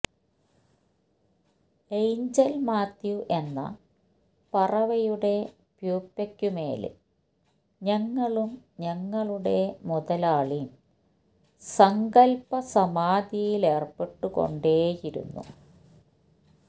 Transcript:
angel Mathew എന്ന പറവയുടെ പ്യൂപ്പയ്ക്കുമേല് ഞങ്ങളും ഞങ്ങളുടെ മൊതാലാളീം സങ്കല്പ്പ സമാധിയിലേര്പ്പെട്ടു കൊണ്ടേയിരുന്നു